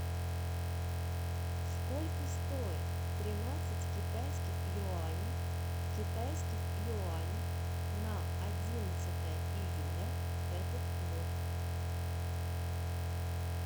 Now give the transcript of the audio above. сколько стоит тринадцать китайских юаней в китайских юанях на одиннадцатое июля этот год